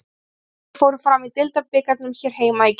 Þrír leikir fóru fram í deildabikarnum hér heima í gær.